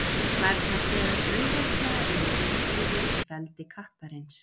Flærnar berast auðveldlega inn í íbúðir í feldi kattarins.